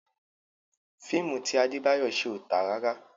Fíìmù ti Adébáyọ̀ ṣe ò tà rárá.